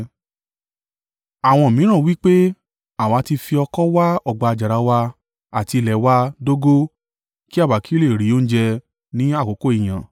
Àwọn mìíràn wí pé, “Àwa ti fi oko wa ọgbà àjàrà wa àti ilé wa dógò kí àwa kí ó lè rí oúnjẹ ní àkókò ìyàn.”